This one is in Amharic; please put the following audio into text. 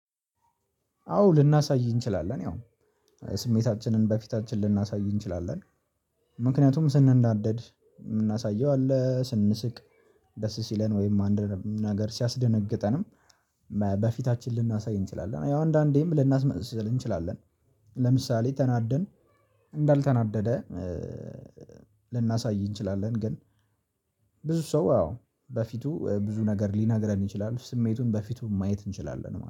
አዎ ልናሳይ እንችላለን ያው ስሜታችንን በፊታችን ልናሳይ እንችላለን። ምክንያቱም ስንናደድ የምናሳየው አለ ስንስቅ ደስ ሲለን ወይም አንድ ነገር ሲያስደነግጠንም። በፊታችን ልናሳይ እንችላለን። ያው አንዳንዴም ልናስመስል እንችላለን። ለምሳሌ ተናደን እንዳልተናደደ ልናሳይ እንችላለን። ግን ብዙ ሰው አዎ በፊቱ ብዙ ነገር ሊነግረን ይችላል ስሜቱን በፊቱ ማየት እንችላለን